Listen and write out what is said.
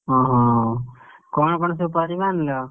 ଓହୋ କଣ କଣ ସବୁ ପରିବା ଆଣିଲ?